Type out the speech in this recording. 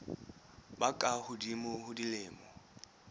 ba ka hodimo ho dilemo